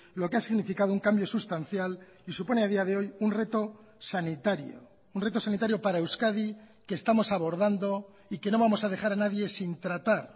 lo que ha significado un cambio sustancial y supone a día de hoy un reto sanitario un reto sanitario para euskadi que estamos abordando y que no vamos a dejar a nadie sin tratar